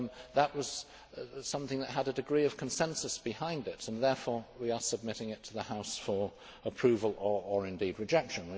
That was something that had a degree of consensus behind it, and therefore we are submitting it to the House for approval or, indeed, rejection.